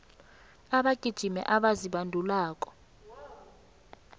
abagijimi abazibandulako